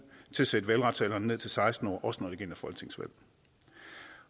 skal sætte valgretsalderen ned til seksten år også når det gælder folketingsvalg